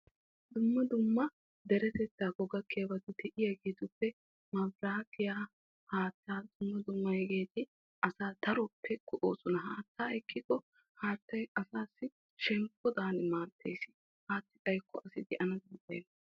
Dumma dumma deretettakko gakkiyabattuppe korinttenne haattay erettosonna. Haattay qassi asaassi shemppodadan maadees.